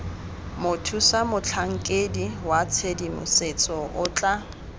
mothusamotlhankedi wa tshedimosetso o tla